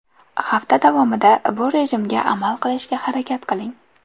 Hafta davomida bu rejimga amal qilishga harakat qiling.